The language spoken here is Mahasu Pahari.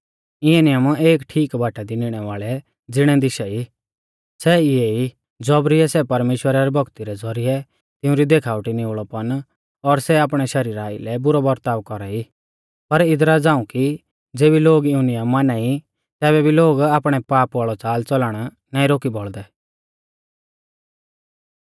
इऐ नियम एक ठीक बाटा दी निणै वाल़ै ज़िणै दिशा ई सै इऐ ई ज़ौबरिऐ सै परमेश्‍वरा री भौक्ती रै ज़ौरिऐ तिउंरी देखाउटी निउल़ौपन और सै आपणै शरीरा आइलै बुरौ बरताव कौरा ई पर इदरा झ़ाऊं कि ज़ेबी लोग इऊं नियम माना ई तैबै भी लोग आपणै पाप वाल़ौ च़ालच़लण नाईं रोकी बौल़दै